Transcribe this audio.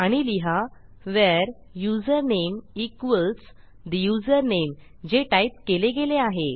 आणि लिहा where username equals ठे युझरनेम जे टाईप केले गेले आहे